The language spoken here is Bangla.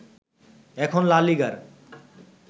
এখন লা লিগার